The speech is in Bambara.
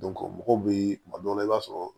mɔgɔw bɛ kuma dɔw la i b'a sɔrɔ